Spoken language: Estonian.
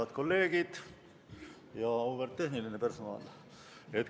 Head kolleegid ja auväärt tehniline personal!